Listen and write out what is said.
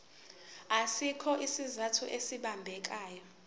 asikho isizathu esibambekayo